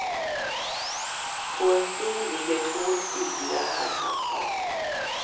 På en stol ligger två stiliga herrhattar.